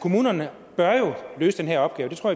kommunerne bør jo løse den her opgave det tror